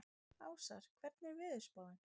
Ásar, hvernig er veðurspáin?